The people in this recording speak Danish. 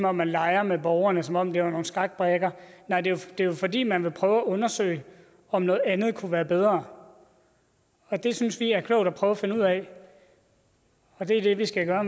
om man leger med borgerne som om det var nogle skakbrikker nej det er jo fordi man vil prøve at undersøge om noget andet kunne være bedre og det synes vi er klogt at prøve at finde ud af og det er det vi skal gøre